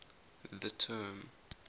the term